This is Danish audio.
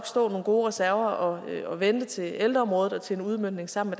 stå nogle gode reserver og vente til ældreområdet og til en udmøntning sammen